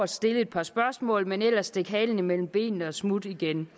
stille et par spørgsmål men som ellers stak halen mellem benene og smuttede igen